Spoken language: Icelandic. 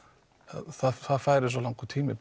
það færi svo langur tími